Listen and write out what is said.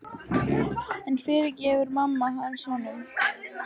En fyrirgefur mamma hans honum?